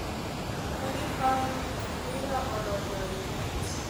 Ne giparo ni opira odonjo e net.